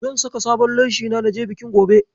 Zan saka sabon leshina na je bikin gobe.